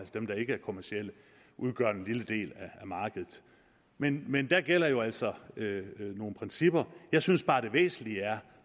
dem der ikke er kommercielle udgør en lille del af markedet men men der gælder jo altså nogle principper jeg synes bare det væsentlige er